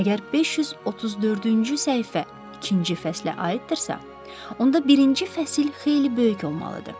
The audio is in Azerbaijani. Əgər 534-cü səhifə ikinci fəslə aiddirsə, onda birinci fəsil xeyli böyük olmalıdır.